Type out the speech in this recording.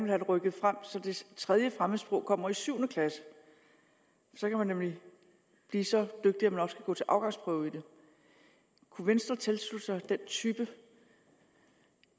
det rykket frem så det tredje fremmedsprog kommer i syvende klasse så kan man nemlig blive så dygtig at man også kan gå til afgangsprøve i det kunne venstre tilslutte sig den type